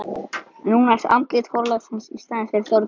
Núna ertu andlit forlagsins í staðinn fyrir Þorgeir.